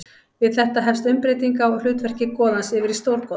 Við þetta hefst umbreyting á hlutverki goðans yfir í stórgoða.